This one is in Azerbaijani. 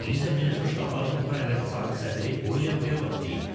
Bunu isə Birləşmiş Ştatların Ukraynadakı sabiq səfiri William Taylor deyib.